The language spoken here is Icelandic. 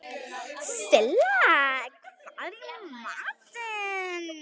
Silla, hvað er í matinn?